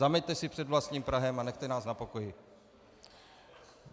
Zameťte si před vlastním prahem a nechte nás na pokoji.